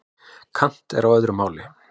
Kant er á öðru máli.